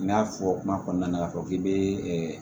N y'a fɔ kuma kɔnɔna na k'a fɔ k'i bɛ